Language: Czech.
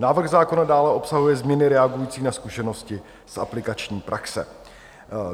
Návrh zákona dále obsahuje změny reagující na zkušenosti z aplikační praxe.